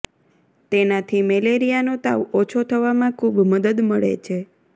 તેનાથી મેલેરિયાનો તાવ ઓછો થવામાં ખૂબ મદદ મળે છે